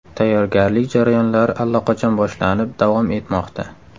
Tayyorgarlik jarayonlari allaqachon boshlanib, davom etmoqda.